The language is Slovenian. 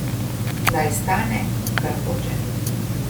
Naj stane, kar hoče.